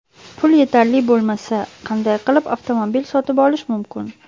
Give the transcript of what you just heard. Pul yetarli bo‘lmasa, qanday qilib avtomobil sotib olish mumkin?.